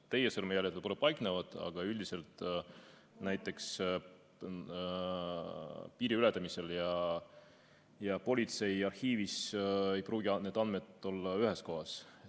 Teie sõrmejäljed võib-olla paiknevad, aga üldiselt näiteks piiriületamisel ja politsei arhiivis ei pruugi need andmed olla ühes kohas.